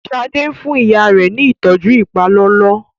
Shade fún ìyá rẹ ní ìtọjú ipalọlọ